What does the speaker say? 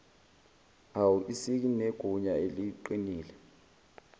au isinegunya eliqinile